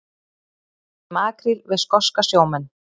Ræddi makríl við skoska sjómenn